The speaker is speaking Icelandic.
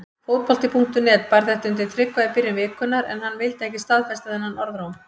Fótbolti.net bar þetta undir Tryggva í byrjun vikunnar en hann vildi ekki staðfesta þennan orðróm.